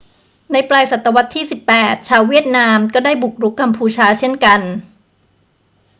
ในปลายศตวรรษที่ 18 ชาวเวียดนามก็ได้บุกรุกกัมพูชาเช่นกัน